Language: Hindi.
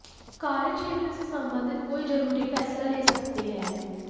कार्यक्षेत्र से संबंधित कोई जरूरी फैसला ले सकते हैं